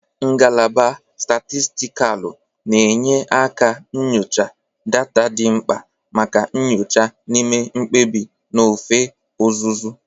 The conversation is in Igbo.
Ngalaba Statistikalu na-enye nkà nyocha data dị mkpa maka nyocha na ime mkpebi n'ofe ọzụzụ.